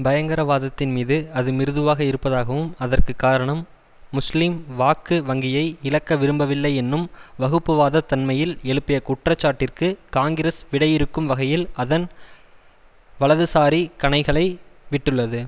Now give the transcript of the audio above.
பயங்கரவாதத்தின் மீது அது மிருதுவாக இருப்பதாகவும் அதற்கு காரணம் முஸ்லீம் வாக்கு வங்கியை இழக்க விரும்பவில்லை என்னும் வகுப்புவாதத் தன்மையில் எழுப்பிய குற்றச்சாட்டிற்கு காங்கிரஸ் விடையிறுக்கும் வகையில் அதன் வலதுசாரி கணைகளை விட்டுள்ளது